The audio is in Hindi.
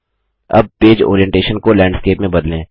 अब पेज ओरीएनटेशन को लैंडस्केप में बदलें